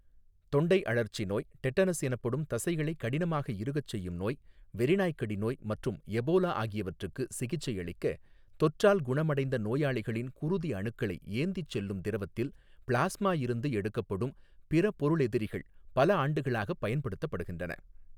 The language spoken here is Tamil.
தொண்டை அழற்சி நோய், டெட்டனஸ் எனப்படும் தசைகளைக் கடினமாக இறுகச் செய்யும் நோய், வெறிநாய்க்கடி நோய் மற்றும் எபோலா ஆகியவற்றுக்கு சிகிச்சையளிக்க தொற்றால் குணமடைந்த நோயாளிகளின் குருதி அணுக்களை ஏந்திச் செல்லும் திரவத்தில் பிளாஸ்மா இருந்து எடுக்கப்படும் பிறபொருளெதிரிகள் பல ஆண்டுகளாகப் பயன்படுத்தப்படுகின்றன.